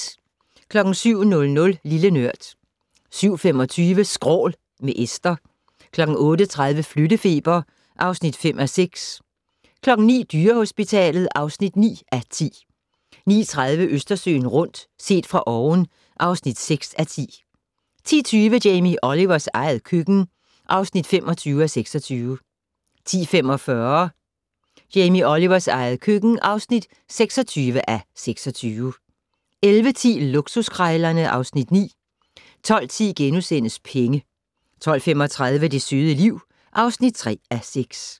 07:00: Lille Nørd 07:25: Skrål - med Esther 08:30: Flyttefeber (5:6) 09:00: Dyrehospitalet (9:10) 09:30: Østersøen rundt - set fra oven (6:10) 10:20: Jamie Olivers eget køkken (25:26) 10:45: Jamie Olivers eget køkken (26:26) 11:10: Luksuskrejlerne (Afs. 9) 12:10: Penge * 12:35: Det søde liv (3:6)